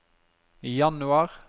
januar